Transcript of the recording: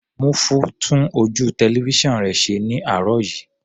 Múfú tún ojú tẹlifísàn rẹ̀ ṣe ní àárọ̀ yìí.